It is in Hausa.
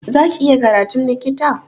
Za ki iya karatun likita?